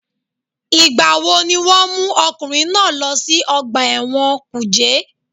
Ìgbà wo ni wọ́n mú ọkùnrin náà lọ sí ọgbà ẹ̀wọ̀n kùjé?